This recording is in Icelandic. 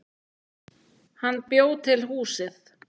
Hann bjó til húsið.